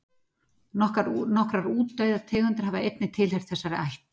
Nokkrar útdauðar tegundir hafa einnig tilheyrt þessari ætt.